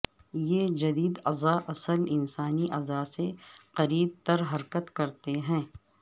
یہ جدید اعضا اصل انسانی اعضا سے قریب تر حرکت کرتے ہیں